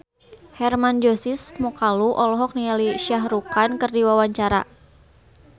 Hermann Josis Mokalu olohok ningali Shah Rukh Khan keur diwawancara